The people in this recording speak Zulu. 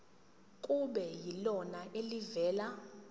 kube yilona elivela